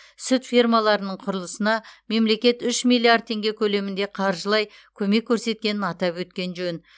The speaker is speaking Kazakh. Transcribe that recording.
сүт фермаларының құрылысына мемлекет үш миллиард теңге көлемінде қаржылай көмек көрсеткенін атап өткен жөн